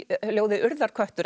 ljóðið urðarköttur